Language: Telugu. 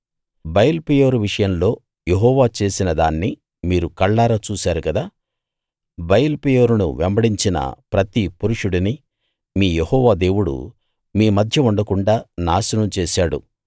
బయల్పెయోరు విషయంలో యెహోవా చేసినదాన్ని మీరు కళ్ళారా చూశారు కదా బయల్పెయోరును వెంబడించిన ప్రతి పురుషుడినీ మీ యెహోవా దేవుడు మీ మధ్య ఉండకుండాా నాశనం చేశాడు